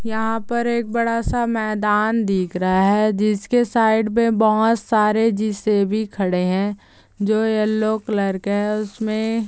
यहाँ पर एक बड़ा सा मैदान दिख रहा है जिसके साइड पे बहोत सरे जे_सी_बी खड़े है जो येल्लो कलर के है उसमे---